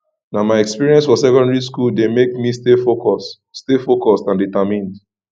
na my experience for secondary school dey make me stay focused stay focused and determined